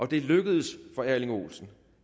det lykkedes for erling olsen